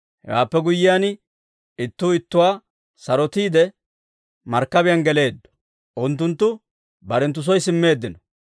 Hewaappe guyyiyaan, ittuu ittuwaa sarotiide, markkabiyaan geleeddo; unttunttu barenttu soy simmeeddino.